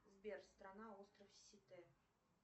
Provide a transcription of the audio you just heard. сбер страна остров сите